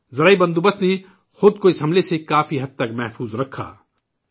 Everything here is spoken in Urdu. زرعی نظام نے خود کو اس حملے سے کافی حد تک محفوظ رکھا